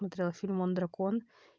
смотрела фильм он дракон